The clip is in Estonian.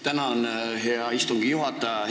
Tänan, hea istungi juhataja!